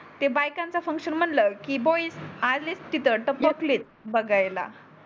ते बाईकांच्या फंक्शन म्हणल की बॉइज आलेच तिथत टपकलेत येत बगायला